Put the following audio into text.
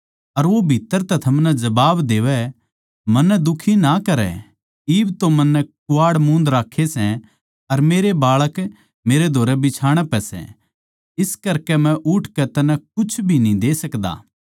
अर वो भीत्त्तर तै थमनै जबाब देवै सै मन्नै दुखी ना करै इब तो मन्नै कुवाड़ मूंद राक्खे सै अर मेरे बाळक मेरै धोरै बिछाणा पै सै इस करकै मै उठकै तन्नै कुछ भी न्ही दे सकदा